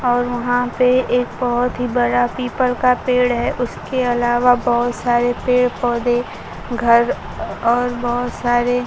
और वहां पे एक बहोत ही बड़ा पीपल का पेड़ है उसके अलावा बहोत सारे पेड़ पौधे घर और बहुत सारे--